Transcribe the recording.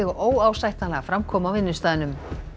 óásættanlega framkomu á vinnustaðnum